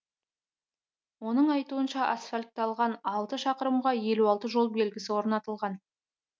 оның айтуынша асфальтталған алты шақырымға елу алты жол белгісі орнатылған